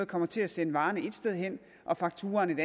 kommer til at sende varerne ét sted hen og fakturaen et